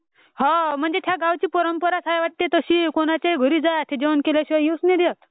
हो म्हणजे त्या गावाची परंपरा चा आहे वाटते तशी म्हणजे ते जेवण केल्याशिवाय येऊ नाही देत वाटते.